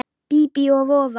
Bíbí og voða.